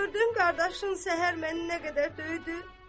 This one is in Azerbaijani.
Gördüyün qardaşım səhər məni nə qədər döydü.